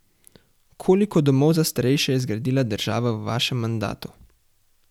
Koliko domov za starejše je zgradila država v vašem mandatu?